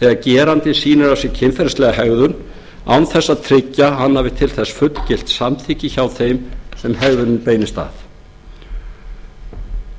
þegar gerandinn sýnir kynferðislega hegðun án þess að tryggja að hann hafi til þess fullgilt samþykki hjá þeim sem hegðunin beinist að